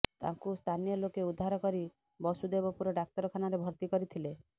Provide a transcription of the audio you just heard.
ତାଙ୍କୁ ସ୍ଥାନୀୟ ଲୋକେ ଉଦ୍ଧାର କରି ବସୁଦେବପୁର ଡାକ୍ତରଖାନାରେ ଭର୍ତ୍ତି କରିଥିଲେ